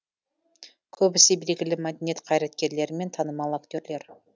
көбісі белгілі мәдениет қайраткерлері мен танымал актерлер